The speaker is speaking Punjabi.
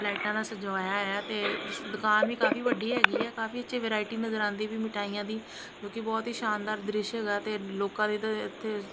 ਲਾਈਟਾਂ ਨਾਲ ਸਜਵਾਏਆ ਹੋਏਆ ਹੈ ਤੇ ਦੁਕਾਨ ਵੀ ਕਾਫੀ ਵੱਡੀ ਹੈਗੀ ਹੈ ਕਾਫੀ ਅੱਛੀ ਵੈਰਾਇਟੀ ਨਜ਼ਰ ਆਂਦੀ ਪਈ ਮਿੱਠਾਇਆਂ ਦੀ ਜੋਕਿ ਬੋਹੁਤ ਹੀ ਸ਼ਾਨਦਾਰ ਦ੍ਰਿਸ਼ ਹੈਗਾ ਤੇ ਲੋਕਾਂ ਦੇ ਤਾਂ ਏੱਥੇ--